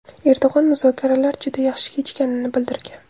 Erdo‘g‘on muzokalarlar juda yaxshi kechganini bildirgan.